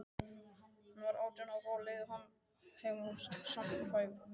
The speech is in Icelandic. Hann var átján ára, á leið heim úr samkvæmi.